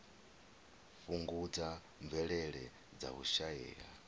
fhungudza mvelele dza u shaea